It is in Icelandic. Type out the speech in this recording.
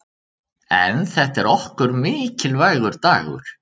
En þetta er okkur mikilvægur dagur.